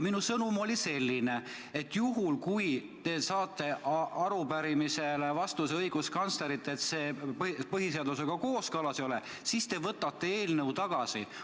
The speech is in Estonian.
Minu sõnum oli selline, et juhul, kui te saate arupärimisele vastuse õiguskantslerilt, et see põhiseadusega kooskõlas ei ole, siis te võtate eelnõu tagasi.